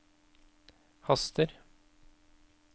haster